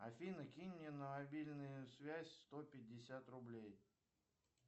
афина кинь мне на мобильную связь сто пятьдесят рублей